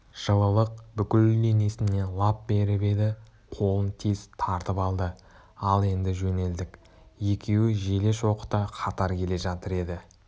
жылылық бүкіл денесіне лап беріп еді қолын тез тартып алды ал енді жөнелдік екеуі желе-шоқыта қатар келе жатыр еді